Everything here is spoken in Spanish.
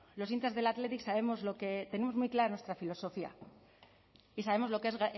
los hinchas del athletic sabemos lo que tenemos muy clara nuestra filosofía y sabemos lo que es